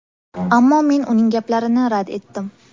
Ammo men uning gaplarini rad etdim.